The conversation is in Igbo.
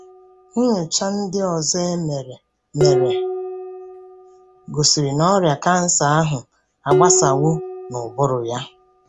Nnyocha ndị ọzọ e mere mere gosiri na ọrịa kansa ahụ agbasawo n'ụbụrụ ya.